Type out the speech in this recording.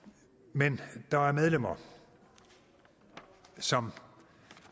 men der er medlemmer som